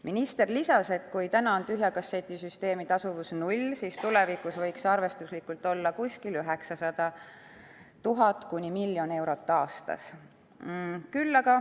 Minister lisas, et kui praegu on tühja kasseti süsteemi tasuvus null, siis tulevikus võiks see olla arvestuslikult 900 000 kuni miljon eurot aastas.